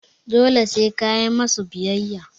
dole se kayi musu biyayya